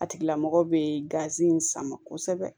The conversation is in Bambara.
A tigila mɔgɔ bɛ gazi in sama kosɛbɛ